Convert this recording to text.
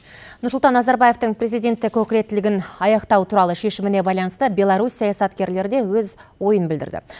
нұрсұлтан назарбаевтың президенттік өкілеттілігін аяқтау туралы шешіміне байланысты беларус саясаткерлері де өз ойын білдірді